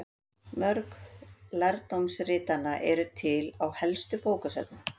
Mörg lærdómsritanna eru til á helstu bókasöfnum.